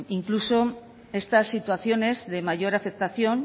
incluso estas situaciones de mayor aceptación